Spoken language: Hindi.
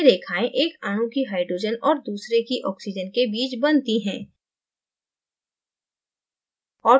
ये रेखाएं एक अणु की hydrogenऔर दूसरे की oxygenके बीच बनती हैं